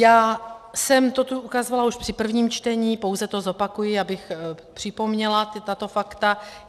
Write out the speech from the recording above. Já jsem to tu ukazovala už při prvním čtení, pouze to zopakuji, abych připomněla tato fakta.